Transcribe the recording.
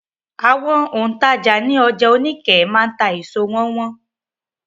Àwọn òǹtajà ní ọjà Oníkẹ̀ẹ́ máa ta èso wọn wọ́n.